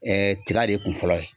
tiga de ye kun fɔlɔ ye .